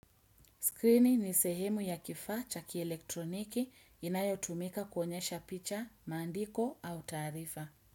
Screeni ni sehemu ya kifaa cha ki elektroniki inayotumika kuonyesha picha, maandiko au taarifa.